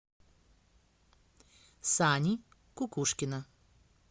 сани кукушкина